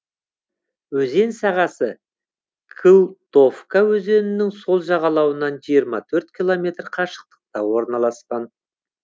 өзен сағасы кылтовка өзенінің сол жағалауынан жиырма төрт километр қашықтықта орналасқан